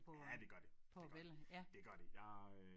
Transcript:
Ja det gør det det gør det det gør det jeg øh